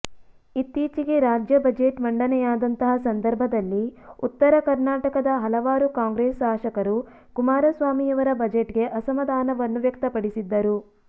ಇತ್ತೀಚಿಗೆ ರಾಜ್ಯ ಬಜೆಟ್ ಮಂಡನೆಯಾದಂತಹ ಸಂದರ್ಭದಲ್ಲಿ ಉತ್ತರ ಕರ್ನಾಟಕದ ಹಲವಾರು ಕಾಂಗ್ರೆಸ್ ಶಾಸಕರು ಕುಮಾರಸ್ವಾಮಿಯವರ ಬಜೆಟ್ ಗೆ ಅಸಮಾಧಾನವನ್ನು ವ್ಯಕ್ತಪಡಿಸಿದ್ದರು